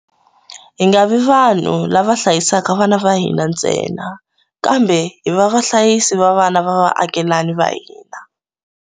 Hi nga vi vanhu lava hlayisaka vana va hina ntsena, kambe hi va vahlayisi va vana va vaakelani va hina.